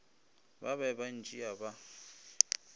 ba be ba ntšea ba